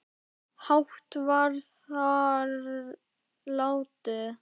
hátt var þar látið